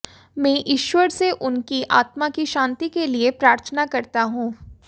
मैं ईश्वर से उनकी आत्मा की शांति के लिए प्रार्थना करता हूं